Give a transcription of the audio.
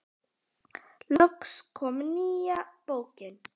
Loks kom nýja bókin.